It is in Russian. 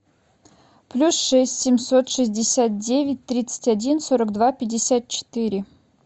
плюс шесть семьсот шестьдесят девять тридцать один сорок два пятьдесят четыре